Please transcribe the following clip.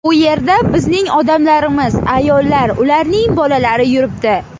U yerda bizning odamlarimiz, ayollar, ularning bolalari yuribdi.